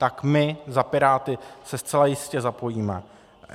Tak my za Piráty se zcela jistě zapojíme.